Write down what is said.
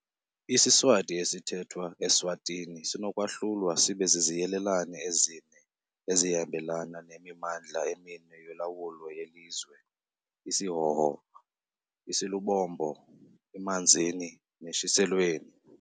IsiSwati esithethwa e-Eswatini sinokwahlulwa sibe ziziyelelane ezine ezihambelana nemimandla emine yolawulo yelizwe- isiHhohho, isiLubombo, iManzini, neShiselweni.